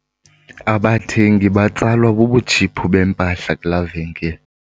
Abathengi batsalwa bubutshiphu bempahla kulaa venkile.